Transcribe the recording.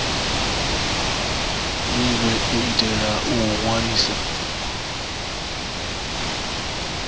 minwe u itela u ṅwalisa